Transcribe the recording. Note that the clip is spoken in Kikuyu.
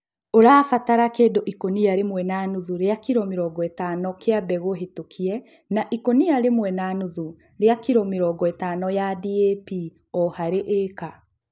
Ũrabatara kĩndũ ikũnia rĩmwe na nuthu rĩa kilo mĩrongo ĩtano kĩa mbegũ hetũkie na ikũnia rĩmwe na nuthu rĩa kilo mĩrongo ĩtano ya DAP o harĩ ĩka